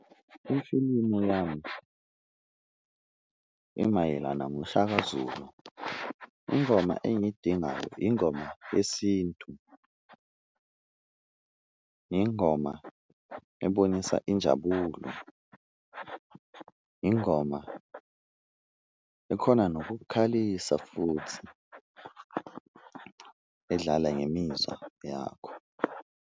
Ifulimu yami imayelana ngoShaka Zulu, ingoma engiyidingayo ingoma yesintu ingoma ebonisa injabulo, ingoma ekhona nokukukhalisa futhi edlala ngemizwa yakho.